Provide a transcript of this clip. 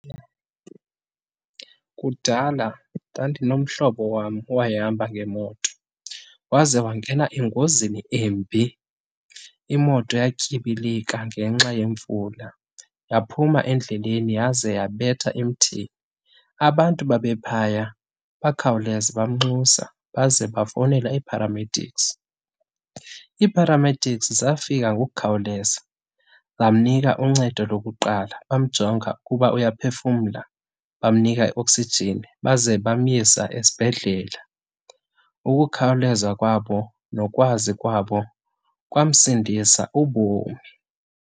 Kudala ndandinomhlobo wam owayehamba ngemoto waze wangena engozini embi. Imoto yatyibilika ngenxa yemvula, yaphuma endleleni yaze yabetha emthini. Abantu babephaya bakhawuleze bamnxusa, baze bafowunela ii-paramedics. Ii-paramedics zafika ngokukhawuleza zamnika uncedo lokuqala. Bamjonga ukuba uyaphefumla, bamnika ioksijini baze bamyisa esibhedlele. Ukukhawuleza kwabo nokwazi kwabo kwamsindisa ubomi.